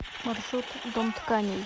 маршрут дом тканей